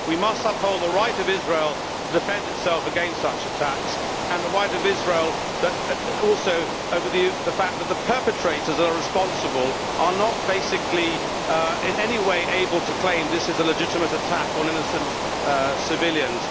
We must uphold the right of Israel to defend itself against such attacks and the rights of Israel in respect of the fact that the perpetrators are responsible for them, and not in any way able to claim this is a legitimate attack on innocent civilians.